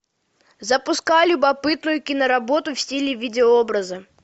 запускай любопытную киноработу в стиле видеообраза